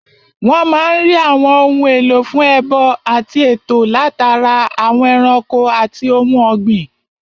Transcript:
Wọ́n máa n rí àwọn ohun èlò fún ẹbọ àti ètò látara àwọn ẹranko àti ohun ògbìn